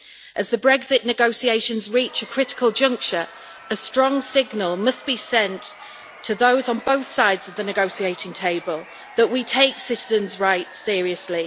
As the Brexit negotiations reach a critical juncture, a strong signal must be sent to those on both sides of the negotiating table that we take citizens' rights seriously.